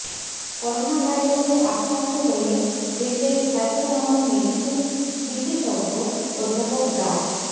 করোনাভাইরাসে আক্রান্ত হয়ে দেশের খ্যাতনামা মেডিসিন বিশেষজ্ঞ অধ্যাপক ডা